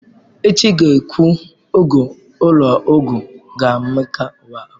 Echi, gaa kwụọ ụgwọ ulo ogwu gi maka iwa afo!